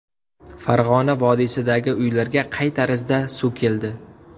Farg‘ona vodiysidagi uylarga qay tarzda suv keldi?.